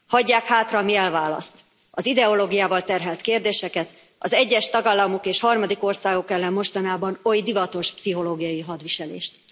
Hagyják hátra, ami elválaszt az ideológiával terhelt kérdéseket, az egyes tagállamok és harmadik országok ellen mostanában oly divatos pszichológiai hadviselést.